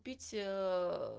пить